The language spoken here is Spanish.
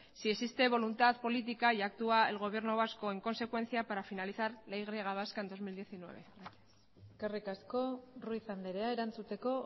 si existe voluntad política y actúa el gobierno vasco en consecuencia para finalizar la y vasca en dos mil diecinueve gracias eskerrik asko ruiz andrea erantzuteko